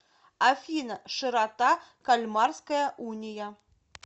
афина широта кальмарская уния